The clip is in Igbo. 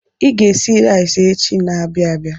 I ga-esi rais echi n'abia abịa.